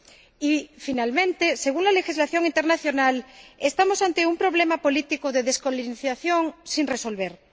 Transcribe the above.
Y, por último, según la legislación internacional, estamos ante un problema político de descolonización sin resolver.